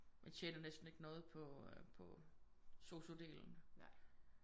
Man tjener næsten ikke noget på øh på SOSU delen